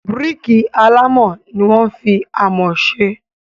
Bíríkì alámọ̀ ni wọ́n fi amọ̀ se.